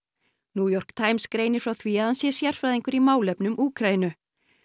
New York Times greinir frá því að hann sé sérfræðingur í málefnum Úkraínu